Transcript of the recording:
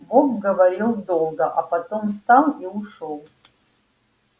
бог говорил долго а потом встал и ушёл